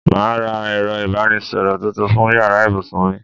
Màá ra ẹ̀rọ ìbánisọ̀rọ̀ tuntun fún yàrá ibùsùn mi